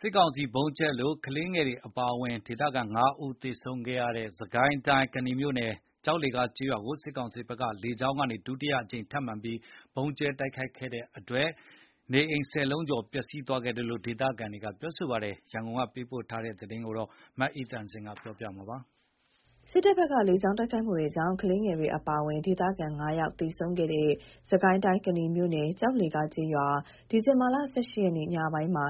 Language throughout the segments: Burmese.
စစ်ကောင်စီဗုံးကြဲလို့ ကလေးငယ်တွေအပါအဝင် ဒေသခံ ၅ ဦး သေဆုံးခဲ့ရတဲ့ စစ်ကိုင်းတိုင်း၊ ကနီမြို့နယ်၊ ကျောက်လှေကားကျေးရွာကို စစ်တပ်ဘက်က လေကြောင်းကနေ ဒုတိယအကြိမ်ထပ်ပြီး ဗုံးကြဲတိုက်ခိုက်လို့ ကျေးရွာထဲက နေအိမ် ၁၀ လုံးကျော် ပျက်စီးခဲ့တယ်လို့ ဒေသခံတွေက ပြောပါ တယ်။ အခုလို မကြာခဏ စစ်ကောင်စီဘက်က လေကြောင်းကနေ ဗုံးကြဲတိုက်ခိုက်နေ တာကြောင့် ဒေသခံတွေမှာ စိုးရိမ်နေကြပါတယ်။ ကနီမြို့နယ်ထဲက လေကြောင်းတိုက်ခိုက်ခံရတဲ့ အခြေအနေတွေ ရန်ကုန်က သတင်းပေးပို့ထားပါတယ်။ စစ်တပ်ဘက်က လေကြောင်းတိုက်ခိုက်မှုကြောင့် ကလေးငယ်တွေအပါအဝင် ဒေသခံ ၅ ဦး သေဆုံး ခဲ့တဲ့ စစ်ကိုင်းတိုင်း ကနီမြို့နယ် ကျောက်လှေကားကျေးရွာ ဒီဇင်ဘာ ၁၈ ရက်ညပိုင်းမှာ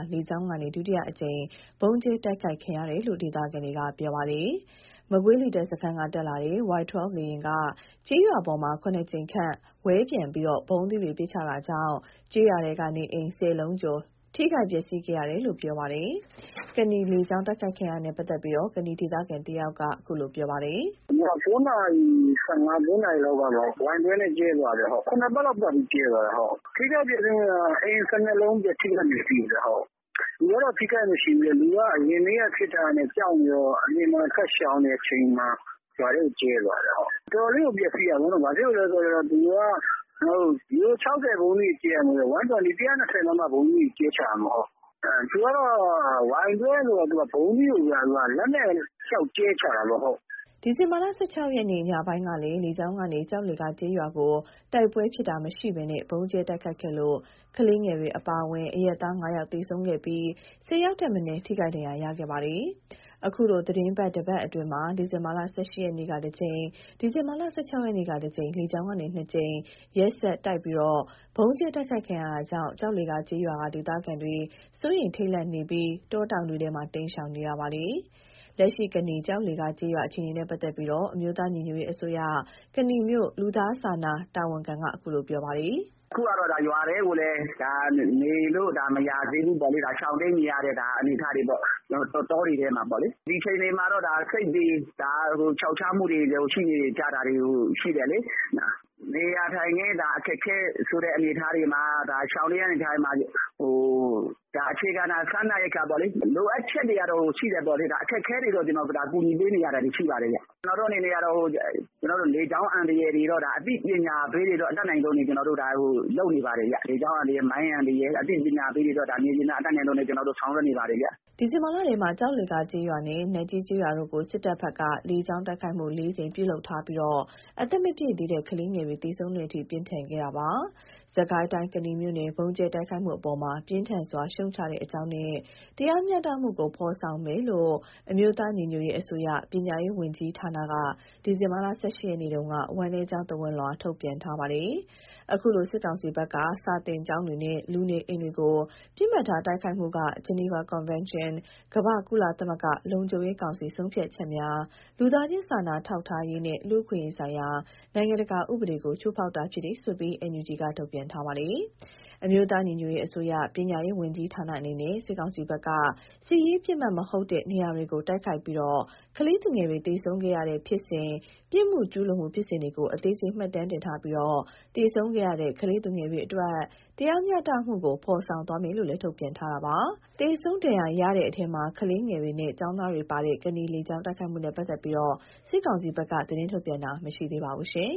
ဒုတိယအကြိမ် လေကြောင်းကဗုံးကြဲတိုက်ခိုက်ခံရတယ်လို့ ဒေသခံတွေက ပြောတာပါ။ မကွေးလေတပ်စခန်းက တက် လာတဲ့ Y12 လေယာဉ်ဟာ ကျေးရွာပေါ်မှာ ၇ ကြိမ်ခန့်ဝဲပျံပြီး ဗုံးသီးတွေပစ်ချတာကြောင့် ကျေးရွာထဲကနေအိမ် ၁၀ လုံးကျော် ထိခိုက်ပျက်စီးခဲ့ရတာလို့ ပြောပါတယ်။ ကနီ လေကြောင်းတိုက်ခိုက်ခံရတာနဲ့ ပတ်သက်ပြီး ကနီဒေသခံတဦးပြောတာကတော့ "ည ၉ နာရီ ၁၅၊ ၉ နာရီလောက် Y-12 နဲ့ကြဲသွားတာ။ ၇ ပတ်လောက် ပတ်ပြီးကြဲသွားတာ။ ထိခိုက်ပျက်စီးမှုက အိမ် ၁၂ လုံးထိခိုက်ပျက်စီးတယ်။ လူကအထိခိုက်မရှိဘူး။ လူက အရင်နေ့က ဖြစ်တာ။ ကြောက်နေတော့ အပြင်မှာ ထွက်ရှောင်နေတဲ့အချိန်မှာ ရွာထဲကို ကြဲသွားတာ။ တော်တော် လေးကိုပျက်စီးတာ။ ဘာလို့လဲဆိုတော့ ၆၀ ဗုံးသီးတွေ ကြဲတာမဟုတ်ဘူး ၁၂၀ မမ ဗုံးသီးတွေ ကြဲချတာပေါ့။ သူက Y-12 ဆိုတော့ လက်နဲ့ကြဲချတာပေါ့။" ဒီဇင်ဘာ ၁၆ ရက် ညပိုင်းကလည်း လေကြောင်းကနေ ကျောက်လှေကား ကျေးရွာကို တိုက်ပွဲဖြစ်တာ မရှိဘဲ ဗုံးကြဲတိုက်ခိုက်ခဲ့လို့ ကလေးငယ်တွေအပါအဝင် အရပ်သား ၅ ဦး သေဆုံးခဲ့ပြီး ၁၀ ဦးထက် မနည်း ထိခိုက်ဒဏ်ရာရခဲ့ပါတယ်။ အခုလိုသီတင်းပတ်တပတ်အတွင်း ဒီဇင်ဘာ ၁၈ ရက်က တကြိမ် ဒီဇင်ဘာ ၁၆ ရက်က တကြိမ် လေကြောင်းက ၂ ကြိမ် ရက်ဆက်တိုက် ဗုံးကြဲတိုက်ခိုက်ခံရတာကြောင့် ကျောက်လှေကား ကျေးရွာက ဒေသခံတွေမှာ စိုးရိမ်ထိတ်လန့်နေပြီး တောတောင်တွေထဲ တိမ်းရှောင်နေရပါတယ်။ လက်ရှိ ကနီ ကျောက်လှေကားကျေးရွာ အခြေအနေနဲ့ ပတ်သက်ပြီး အမျိုးသားညီညွတ်ရေး အစိုးရ ကနီမြို့ လူသားစာနာတာဝန်ခံက အခုလို ပြောပါတယ်။ "အခုက ရွာထဲကိုလည်း နေလို့က မရသေးဘူးပေါ့။ ရှောင်တိမ်းနေရတဲ့ အနေအထားတွေပေါ့။ တောတွေထဲမှာပေါ့လေ။ ဒီအခြေအနေမှာတော့ စိတ်တွေ ခြောက်ခြားမှုတွေရှိနေတယ်ပေါ့လေ။ နေရာထိုင်ခင်း ရှောင်နေရတဲ့အခက်အခဲတွေမှာ အခြေခံစားနပ်ရိက္ခာပေါ့လေ။ လိုအပ်ချက်တွေကတော့ ရှိတယ်ပေါ့လေ။ အခက်အခဲတွေကို ကူညီပေးနေရတာတွေ ရှိနေတယ်။ ကျနော်တို့အနေနဲ့ လေကြောင်းအန္တရာယ် အသိပညာပေးတာတွေ တတ်နိုင်သလောက်လုပ်နေပါတယ်။ လေကြောင်း အန္တရာယ် မိုင်းအန္တရာယ် အသိပညာပေးတာတွေ မြေပြင်မှာ တတ်နိုင်သလောက် လုပ်နေပါတယ်။" ဒီဇင်ဘာလထဲ ကျောက်လှေကား ကျေးရွာနဲ့ နတ်ကြီး ကျေးရွာတို့ကို စစ်တပ်ဘက်က လေကြောင်း တိုက်ခိုက်မှု ၄ ကြိမ် ပြုလုပ်ထားပြီး အသက်မပြည့်သေးတဲ့ ကလေးငယ်တွေ သေဆုံးတဲ့အထိ ပြင်းထန်ခဲ့တာပါ။ စစ်ကိုင်းတိုင်း၊ ကနီမြို့နယ် ဗုံးကြဲတိုက်ခိုက်မှုအပေါ် ပြင်းထန်စွာ ရှုတ်ချကြေ ာင်းနဲ့ တရားမျှတမှုကို ဖော်ဆောင်မယ်လို့ အမျိုးသား ညီညွတ်ရေးအစိုးရ ပညာရေးဝန်ကြီးဌာနက ဒီဇင်ဘာလ ၁၈ ရက်က ဝမ်းနည်းကြောင်း သဝဏ်လွှာထုတ်ပြန်ထားပါတယ်။ အခုလို စစ်ကောင်စီ ဘက်က စာသင်ကျောင်းတွေနဲ့ လူနေအိမ်တွေကို ပစ်မှတ်ထားတိုက်ခိုက်မှုဟာ ဂျီနီဗာကွန်ဗန်းရှင်း၊ ကမ္ဘာ့ကုလသမဂ္ဂလုံခြုံရေးကောင်စီ ဆုံးဖြတ်ချက်များ၊ လူသားချင်း စာနာ ထောက်ထားရေးနှင့် လူအခွင့်အရေးဆိုင်ရာ နိုင်ငံတကာဥပဒေကို ချိုးဖောက်တာဖြစ်တယ်ဆိုတာကို NUG က ထုတ်ပြန်ထားပါတယ်။ အမျိုးသားညီညွတ်ရေးအစိုးရ၊ ပညာရေးဝန်ကြီးဌာန အနေနဲ့ စစ်ကောင်စီဘက်က စစ်ရေးပစ်မှတ် မဟုတ်တဲ့နေရာတွေကို တိုက်ခိုက်ပြီး ကလေးသူငယ်တွေ သေဆုံးခဲ့ရသည့် ဖြစ်စဉ်၊ ပြစ်မှုကျူးလွန်မှု ဖြစ်စဉ်တွေကို အသေးစိတ် မှတ်တမ်းတင်ထားပြီး သေဆုံးခဲ့ရတဲ့ ကလေးသူငယ်တွေအတွက် တရားမျှတမှုကို ဖော်ဆောင်သွားမယ်လို့ ထုတ်ပြန်ထားပါတယ်။ သေဆုံးဒဏ်ရာရတဲ့အထဲမှာ ကလေးငယ်တွေနဲ့ ကျောင်းသားတွေပါတဲ့ ကနီ လေကြောင်း တိုက်ခိုက်မှုနဲ့ ပတ်သက်ပြီး စစ်ကောင်စီဘက်ကတော့ သတင်းထုတ်ပြန်တာ မရှိသေးပါဘူး။